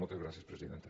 moltes gràcies presidenta